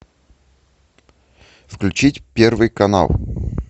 включить первый канал